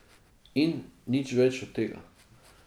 In nič več od tega.